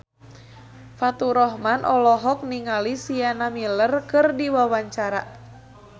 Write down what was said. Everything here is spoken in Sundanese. Faturrahman olohok ningali Sienna Miller keur diwawancara